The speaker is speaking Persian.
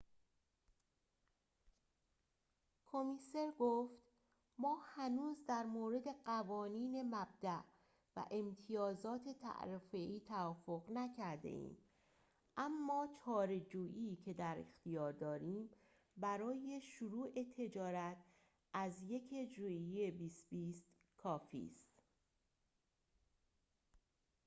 کمیسر گفت ما هنوز در مورد قوانین مبداء و امتیازات تعرفه‌ای توافق نکرده‌ایم اما چارچوبی که در اختیار داریم برای شروع تجارت از ۱ ژوئیه ۲۰۲۰ کافی است